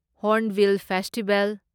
Hornbill festival